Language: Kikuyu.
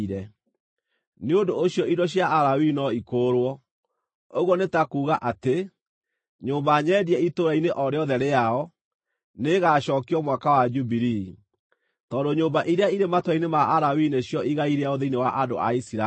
Nĩ ũndũ ũcio indo cia Alawii no ikũũrwo, ũguo nĩ ta kuuga atĩ, nyũmba nyendie itũũra-inĩ o rĩothe rĩao, nĩĩgacookio Mwaka wa Jubilii, tondũ nyũmba iria irĩ matũũra-inĩ ma Alawii nĩcio igai rĩao thĩinĩ wa andũ a Isiraeli.